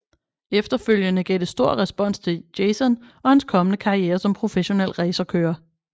Efterfølgende gav det stor respons til Jason og hans kommende karriere som professionel racerkører